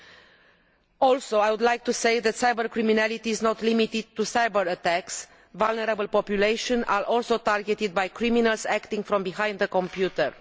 I would also like to say that cyber criminality is not limited to cyber attacks vulnerable populations are also targeted by criminals acting from behind the computer.